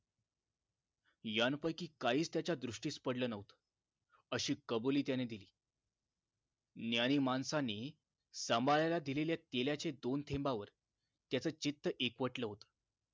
यांपैकी काहीच त्याच्या दृष्टीस पडले न्हवते अशी कबुली त्याने दिली ज्ञानी माणसांनी सांभाळायला दिलेल्या तेलाचे दोन थेंबांवर त्याच चित्त एकवटलं होत